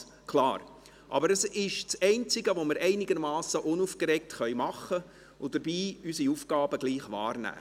Es ist aber das Einzige, das wir einigermassen unaufgeregt tun können, um unsere Aufgaben dennoch wahrzunehmen.